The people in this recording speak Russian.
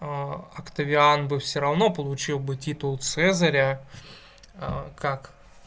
октавиан бы всё равно получил бы титул цезаря а как